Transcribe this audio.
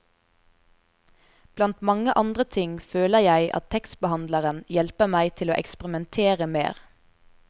Blant mange andre ting føler jeg at tekstbehandleren hjelper meg til å eksperimentere mer.